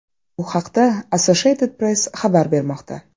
Bu haqda Associated Press xabar bermoqda .